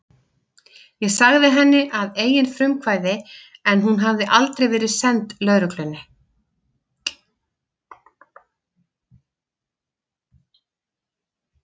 Ég sagði frá henni að eigin frumkvæði en hún hafði aldrei verið send lögreglunni.